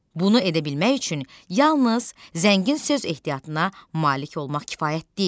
Bunu edə bilmək üçün yalnız zəngin söz ehtiyatına malik olmaq kifayət deyil.